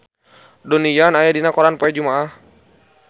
Donnie Yan aya dina koran poe Jumaah